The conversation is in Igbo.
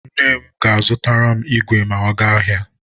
Nne m ga-azụtara m igwe ma ọ gaa ahịa.